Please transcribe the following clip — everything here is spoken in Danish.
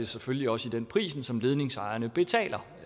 selvfølgelig også i den pris som ledningsejerne betaler